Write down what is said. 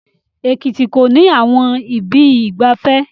Ekiti kò ní àwọn ibi ìgbafẹ́